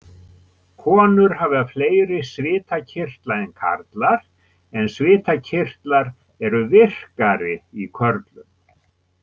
Konur hafa fleiri svitakirtla en karlar en svitakirtlar eru virkari í körlum.